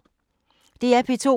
DR P2